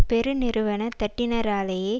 பெருநிறுவன தட்டினராலேயே